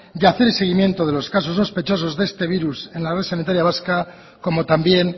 y hacer el seguimiento de los casos sospechosos de este virus en la red sanitaria vasca como también